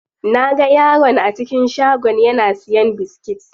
Naga yaron a cikin shagon yana siyan biskit.